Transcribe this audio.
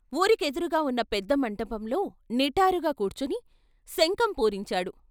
వూరికెదురుగా ఉన్న పెద్ద మంటపంలో నిటారుగా కూర్చుని శంఖం పూరించాడు